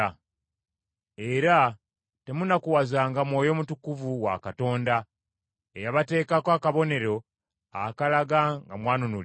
Era temunakuwazanga Mwoyo Mutukuvu wa Katonda, eyabateekako akabonero akalaga nga mwanunulibwa.